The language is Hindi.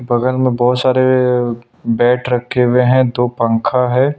बगल में बहुत सारे बैठ रखे हुए हैं दो पंखा है।